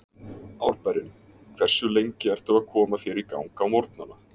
Árbærinn Hversu lengi ertu að koma þér í gang á morgnanna?